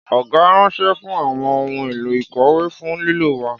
Ọgá ranṣẹ fún àwọn ohun èlò ìkòwé fún lílò wa